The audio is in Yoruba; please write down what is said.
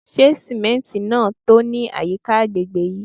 Se simenti naa to ni ayika agbegbe yii?